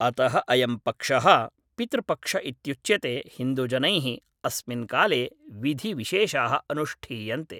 अतः अयं पक्षः पितृपक्ष इत्युच्यते हिन्दुजनैः अस्मिन् काले विधिविशेषाः अनुष्ठीयन्ते।